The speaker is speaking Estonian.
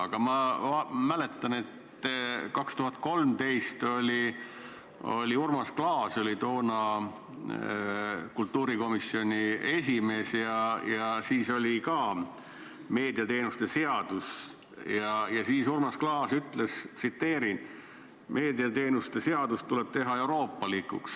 Aga ma mäletan, et 2013. aastal, Urmas Klaas oli toona kultuurikomisjoni esimees, oli ka meediateenuste seadus ja siis Urmas Klaas ütles: "Meediateenuste seadus tuleb teha euroopalikuks.